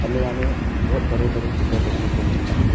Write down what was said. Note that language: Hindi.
हमें यहां में बहोत बड़े बड़े पिलर देखने को मिलता है।